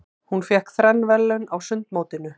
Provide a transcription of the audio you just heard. Hún fékk þrenn verðlaun á sundmótinu.